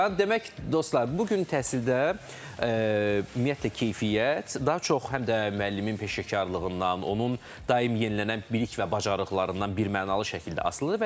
Demək, dostlar, bu gün təhsildə ümumiyyətlə keyfiyyət daha çox həm də müəllimin peşəkarlığından, onun daim yenilənən bilik və bacarıqlarından birmənalı şəkildə asılıdır.